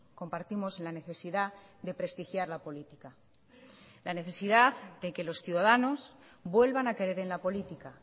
compartimos la necesidad de prestigiar la política la necesidad de que los ciudadanos vuelvan a creer en la política